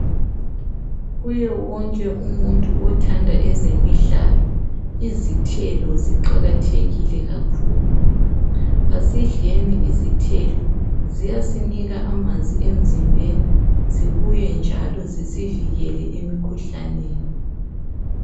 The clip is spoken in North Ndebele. Kuye wonke umuntu othanda ezemidlalo izithelo ziqakathekile kakhulu asidleni izithelo ziyasinika amanzi emzimbeni zibuye njalo zisivikele lemikhuhlaneni.